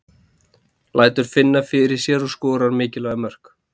Lætur finna fyrir sér og skorar mikilvæg mörk.